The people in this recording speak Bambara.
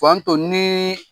to ni